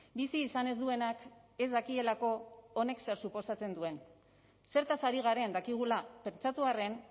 bizi izan ez duenak ez dakielako honek zer suposatzen duen zertaz ari garen dakigula pentsatu arren